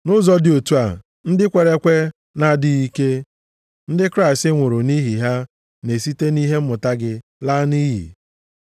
Nʼụzọ dị otu a, ndị kwere ekwe na-adịghị ike, ndị Kraịst nwụrụ nʼihi ha, na-esite nʼihe mmụta gị laa nʼiyi.